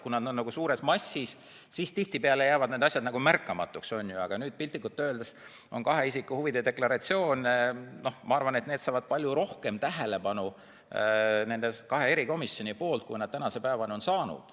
Kui tegu on suure massiga, siis tihtipeale jäävad asjad märkamatuks, on ju, aga nüüd saavad kahe isiku huvide deklaratsioonid nendes kahes erikomisjonis palju rohkem tähelepanu, kui nad tänase päevani on saanud.